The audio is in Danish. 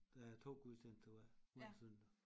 Der er 2 gudstjenester hver hver søndag